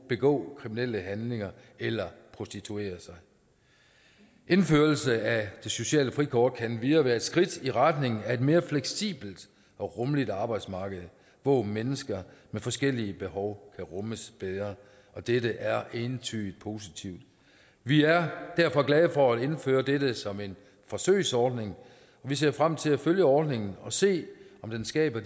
begå kriminelle handlinger eller prostituere sig indførelse af det sociale frikort kan endvidere være et skridt i retningen af et mere fleksibelt og rummeligt arbejdsmarked hvor mennesker med forskellige behov kan rummes bedre dette er entydigt positivt vi er derfor glade for at indføre dette som en forsøgsordning vi ser frem til at følge ordningen og se om den skaber